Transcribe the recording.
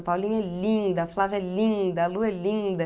A Paulinha é linda, a Flávia é linda, a Lu é linda.